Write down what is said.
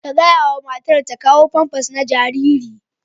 Ka gaya wa matar ta kawo famfas na jariri.